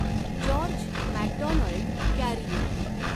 George McDonald Carew